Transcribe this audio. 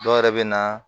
Dɔw yɛrɛ bɛ na